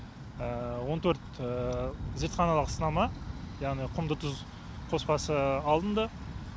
он төрт зертханалық сынама яғни құмды тұз қоспасы алынды